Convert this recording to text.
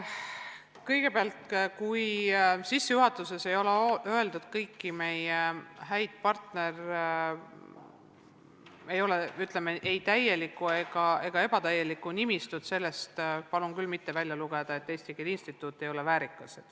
Kõigepealt, sellest, kui sissejuhatuses ei ole loetletud kõiki meie häid partnereid, st kui seal pole, ütleme, ei täielikku ega ebatäielikku nimistut, palun küll mitte välja lugeda, et Eesti Keele Instituut ei ole väärikas.